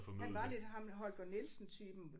Han var lidt ham Holger Nielsen typen